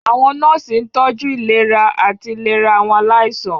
Àwọn nọ́ọ̀sì ń tọ́jú ìlera àti ìlera àwọn aláìsàn.